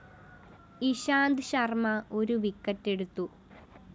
ഇഷാന്ത് ശര്‍മ ഒരു വിക്കറ്റെടുത്തു